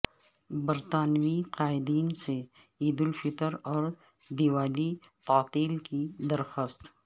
برطانوی قائدین سے عید الفطر اور دیوالی تعطیل کی درخواست